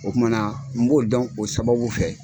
O kumana n b'o dɔn o sababu fɛ.